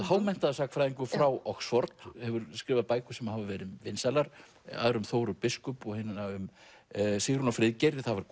hámenntaður sagnfræðingur frá Oxford hefur skrifað bækur sem hafa verið vinsælar aðra um Þóru biskup og hina um Sigrúnu og Friðgeir það var